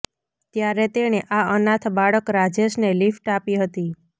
ત્યારે તેણે આ અનાથ બાળક રાજેશને લિફ્ટ આપી હતી